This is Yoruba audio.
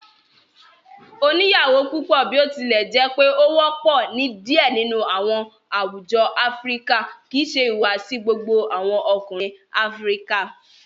Oniyawo pupọ, botilẹjẹpe o wọpọ ni diẹ nínú awọn àwùjọ Áfíríkà, kìí ṣe ìhùwàsí gbogbo awọn Ọkùnrin Áfíríkà.